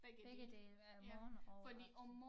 Begge dele øh morgen og aften